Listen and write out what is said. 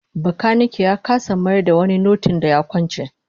Bakanike ya kasa mayar da wani notin da ya kwance